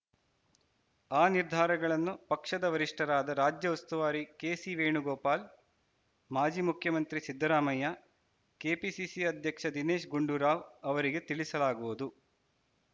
ಆ ನಿರ್ಧಾರಗಳನ್ನು ಪಕ್ಷದ ವರಿಷ್ಠರಾದ ರಾಜ್ಯ ಉಸ್ತುವಾರಿ ಕೆಸಿವೇಣುಗೋಪಾಲ್‌ ಮಾಜಿ ಮುಖ್ಯಮಂತ್ರಿ ಸಿದ್ದರಾಮಯ್ಯ ಕೆಪಿಸಿಸಿ ಅಧ್ಯಕ್ಷ ದಿನೇಶ್‌ ಗುಂಡೂರಾವ್‌ ಅವರಿಗೆ ತಿಳಿಸಲಾಗುವುದು